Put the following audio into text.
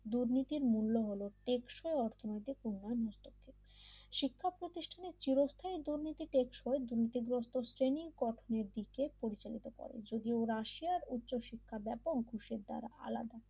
দুর্নীতির মূল্য হল টেকসই অর্থনৈতিক উন্নয়ন মিসটেকটি শিক্ষা প্রতিষ্ঠানের চিরস্থায়ী দুর্নীতি টেকসই দুর্নীতিগ্রস্ত শ্রেণি গঠনের দিকে পরিচালিত হতে পারে যদিও ওরা রাশিয়ার উচ্চশিক্ষা ব্যাপক ঘুষের দ্বারা আলাদা